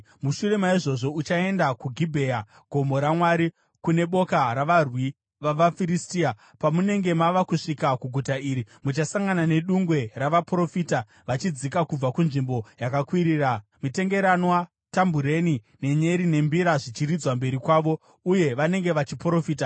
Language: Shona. “Mushure maizvozvo uchaenda kuGibhea, Gomo raMwari, kune boka ravarwi vavaFiristia. Pamunenge mava kusvika kuguta iri, muchasangana nedungwe ravaprofita vachidzika kubva kunzvimbo yakakwirira, mitengeranwa, tambureni, nenyere nembira, zvichiridzwa mberi kwavo, uye vanenge vachiprofita.